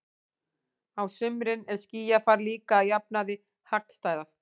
Á sumrin er skýjafar líka að jafnaði hagstæðast.